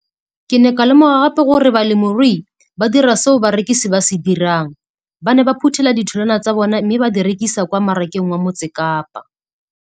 Ke ne ka lemoga gape gore balemirui ba dira seo rona barekisi re se dirang, ba ne ba phuthela ditholwana tsa bona mme ba di rekisa kwa marakeng wa Motsekapa.